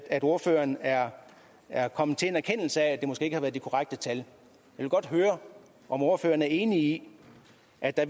at ordføreren er er kommet til en erkendelse af at det måske ikke har været de korrekte tal jeg vil godt høre om ordføreren er enig i at der